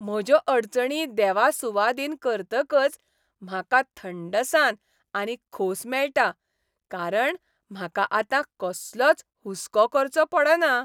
म्हज्यो अडचणी देवा सुवादीन करतकच म्हाका थंडसाण आनी खोस मेळटा कारण म्हाका आतां कसलोच हुसको करचो पडना.